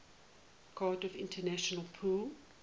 cardiff international pool